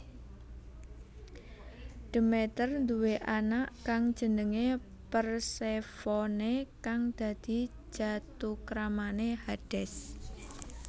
Demeter duwé anak kang jenenge Persefone kang dadi jathukramane Hades